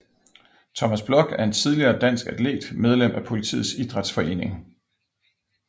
Thomas Block er en tidligere dansk atlet medlem af Politiets Idrætsforening